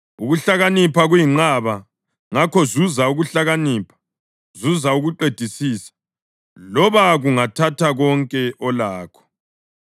Ukuhlakanipha kuyinqaba; ngakho zuza ukuhlakanipha. Zuza ukuqedisisa loba kungathatha konke olakho.